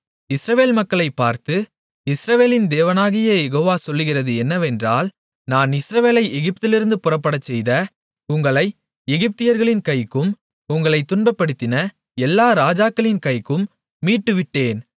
இஸ்ரவேல் மக்களைப் பார்த்து இஸ்ரவேலின் தேவனாகிய யெகோவா சொல்கிறது என்னவென்றால் நான் இஸ்ரவேலை எகிப்திலிருந்து புறப்படச்செய்த உங்களை எகிப்தியர்களின் கைக்கும் உங்களைத் துன்பப்படுத்தின எல்லா ராஜாக்களின் கைக்கும் மீட்டுவிட்டேன்